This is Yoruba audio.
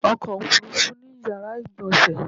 ọkò òfurufú ní yàrá ìgbọ̀nsè